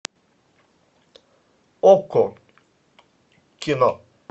окко кино